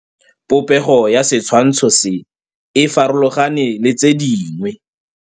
Popêgo ya setshwantshô se, e farologane le tse dingwe.